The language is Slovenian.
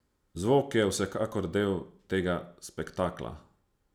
Zvok je vsekakor del tega spektakla.